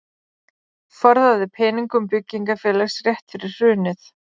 Forðaði peningum byggingarfélags rétt fyrir hrunið